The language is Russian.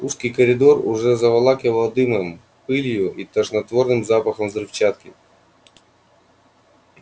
узкий коридор уже заволакивало дымом пылью и тошнотворным запахом взрывчатки